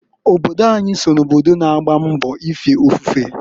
Obodo anyị so na obodo na-agba mbọ n'ife ofufe.